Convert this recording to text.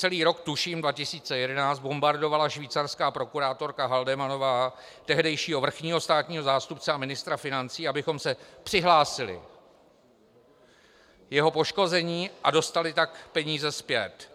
Celý rok, tuším 2011, bombardovala švýcarská prokurátorka Haldemannová tehdejšího vrchního státního zástupce a ministra financí, abychom se přihlásili k poškození a dostali tak peníze zpět.